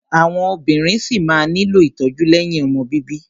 Àwọn obìnrin ṣí máa nílò ìtọ́jú lẹ́yìn ọmọ bíbí.